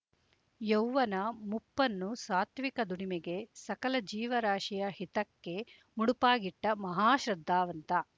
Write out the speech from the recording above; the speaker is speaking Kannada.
ಯೌವನ ಮುಪ್ಪನ್ನು ಸಾತ್ವಿಕ ದುಡಿಮೆಗೆ ಸಕಲ ಜೀವರಾಶಿಯ ಹಿತಕ್ಕೆ ಮುಡುಪಾಗಿಟ್ಟ ಮಹಾ ಶ್ರದ್ಧಾವಂತ